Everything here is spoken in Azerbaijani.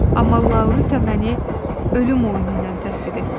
Amma Laurita məni ölüm oyunu ilə təhdid etdi.